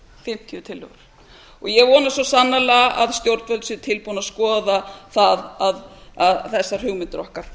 fimmtíu tillögur ég vona svo sannarlega að stjórnvöld séu tilbúin að skoða það þessar hugmyndir okkar